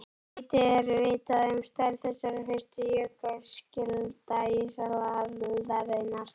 Lítið er vitað um stærð þessara fyrstu jökulskjalda ísaldarinnar á